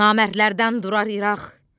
Namərdlərdən durar İraq,